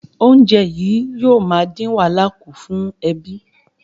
Oúnjẹ yìí yóò ma din wàhálà ku fún ẹbí